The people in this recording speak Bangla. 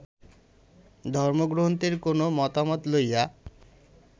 ধর্মগ্রন্থের কোন মতামত লইয়া